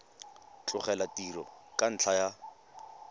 tlogela tiro ka ntlha ya